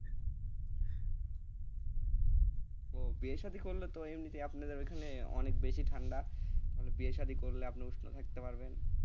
ও বিয়ে শাদী করলে তো এমনি তে আপনাদের ওখানে অনেক বেশি ঠান্ডা, মানে বিয়ে শাদী করলে আপনি উষ্ণ থাকতে পারবেন,